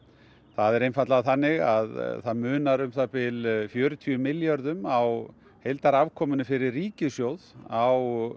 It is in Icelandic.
það er einfaldlega þannig að það munar um það bil fjörutíu milljörðum á heildarafkomunni fyrir ríkissjóð á